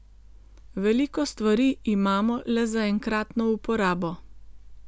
Veliko stvari imamo le za enkratno uporabo.